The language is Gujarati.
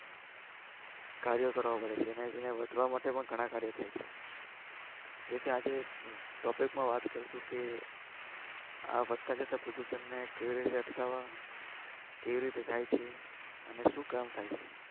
કર્યો કરવા પડે છે એને વધવા માટે ગણા કર્યો થઇ છે તેથી આજે topic માં કરુંછું કે આ વધતા જતા પ્રદુસંને કેવી ઈટ અટકાવવા કેવી રીતે થઇ છે અને શું કામ છે